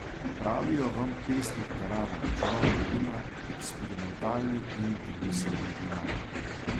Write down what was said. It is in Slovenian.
Pravijo vam pesnik terana, čarovnik vina, eksperimentalni in domiselni vinar.